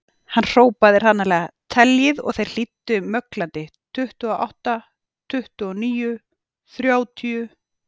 Hann hrópaði hranalega: Teljið og þeir hlýddu möglandi,.tuttugu og átta, tuttugu og níu, þrjátíu